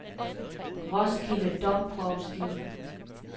Roskilde Domprovsti